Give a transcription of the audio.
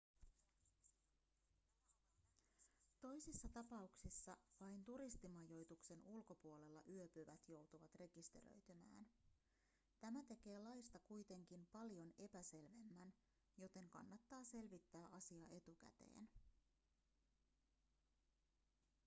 toisissa tapauksissa vain turistimajoituksen ulkopuolella yöpyvät joutuvat rekisteröitymään tämä tekee laista kuitenkin paljon epäselvemmän joten kannattaa selvittää asia etukäteen